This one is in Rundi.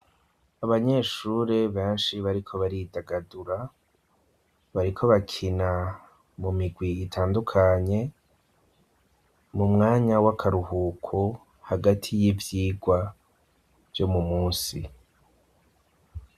Abanyeshure benshi, bariko baridagadura bariko bakina mu migwi itandukanye ,mu mwanya w'akaruhuko hagati y'ivyigwa vyo mu munsi.